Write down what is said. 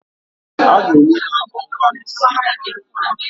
A ga-enye ha ọnwa isii nke nnwale